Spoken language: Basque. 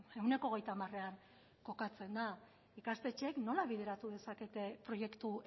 ehuneko hogeita hamarean kokatzen da ikastetxeek nola bideratu dezakete proiektu